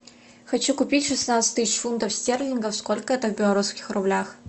хочу купить шестнадцать тысяч фунтов стерлингов сколько это в белорусских рублях